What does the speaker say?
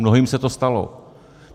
Mnohým se to stalo.